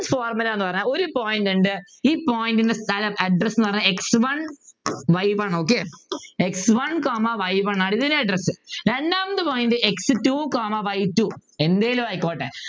formula ന്നു പറഞ്ഞാൽ ഒരു Point ഉണ്ട് ഈ Point ൻ്റെ സ്ഥലം address എന്ന് പറഞ്ഞാൽ x one y one okay x one comma y one ആണ് ഇതിൻ്റെ address രണ്ടാമത്തെ Point x two comma y two എന്തേലും ആയിക്കോട്ടെ